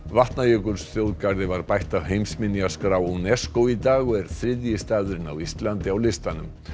Vatnajökulsþjóðgarði var bætt á heimsminjaskrá UNESCO í dag og er þriðji staðurinn á Íslandi á listanum